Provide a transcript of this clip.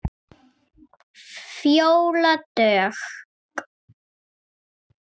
Fjóla Dögg.